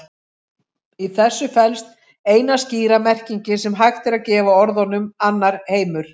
Í þessu felst eina skýra merkingin sem hægt er að gefa orðunum annar heimur.